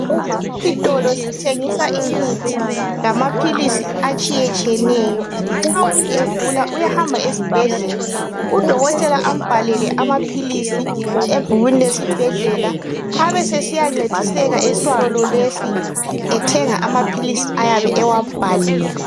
Lesi sitolo sithengisa imithi lamaphilisi atshiyetshiyeneyo. Nxa umuntu egula uyahamba esibhedlele udokotela ambhalele amaphilisi ebhukwini lesibhedlela abesesiyancediseka esitolo lesi ethenga amaphilisi ayabe ewabhalelwe